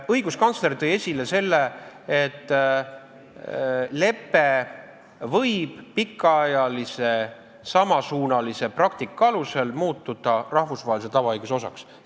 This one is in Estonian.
Õiguskantsler tõi esile, et lepe võib pikaajalise samasuunalise praktika alusel muutuda rahvusvahelise tavaõiguse osaks.